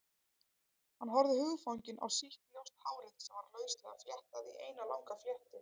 Hann horfði hugfanginn á sítt, ljóst hárið sem var lauslega fléttað í eina langa fléttu.